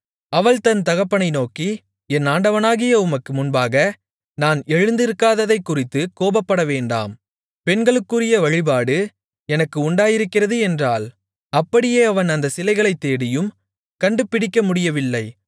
அவள் தன் தகப்பனை நோக்கி என் ஆண்டவனாகிய உமக்கு முன்பாக நான் எழுந்திருக்காததைக்குறித்துக் கோபப்பட வேண்டாம் பெண்களுக்குரிய வழிபாடு எனக்கு உண்டாயிருக்கிறது என்றாள் அப்படியே அவன் அந்தச் சிலைகளைத் தேடியும் கண்டுபிடிக்க முடியவில்லை